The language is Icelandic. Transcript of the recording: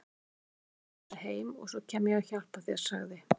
Ég ætla að fylgja Elísu heim og svo kem ég og hjálpa þér sagði